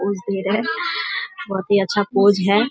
बहुत भीड़ है बहुत ही अच्छा पोज है।